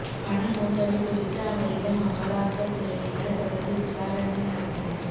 பண மோசடி குறித்து அவரிடம் அமலாக்கத் துறையினர் தொடர்ந்து விசாரணை நடத்தினர்